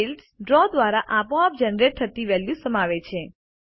fields ડ્રો દ્વારા આપોઆપ જનરેટ થતી વેલ્યુઝ સમાવે છે